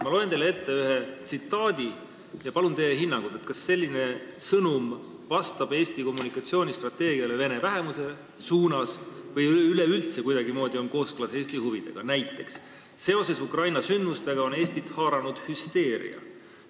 Ma loen teile ette ühe tsitaadi ja palun teie hinnangut, kas selline sõnum vastab Eesti kommunikatsioonistrateegiale vene vähemuse suunal või on üleüldse kuidagimoodi kooskõlas Eesti huvidega: "Seoses Ukraina sündmustega on Eestit haaranud hüsteeria.